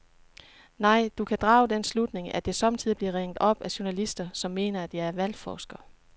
Nej, du kan drage den slutning, at jeg sommetider bliver ringet op af journalister, som mener, at jeg er valgforsker.